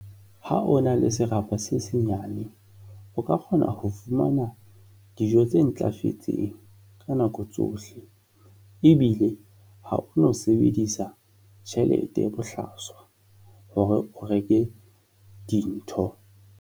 Ha o na le serapa se senyane, o ka kgona ho fumana dijo tse ntlafetseng ka nako tsohle ebile ha o no sebedisa tjhelete bohlaswa hore o reke dintho.